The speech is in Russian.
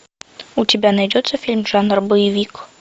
у тебя найдется фильм жанра боевик